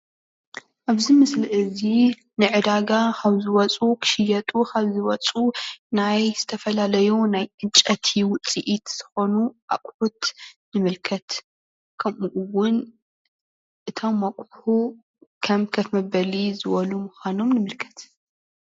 ኣብዚ ምስሊ እዚ ንዕዳጋ ካብ ዝወፁ ክሽየጡ ከምዝወፅ ናይ ዝተፈላለዩ ናይ ዕንጨይቲ ውፅኢት ዝኮኑ ኣቁሑት ንምልከት። ከምኡውን እቶም ኣቁሑ ከም ከፍ መበሊ ዝበሉ ምዃኖም ንምልከት።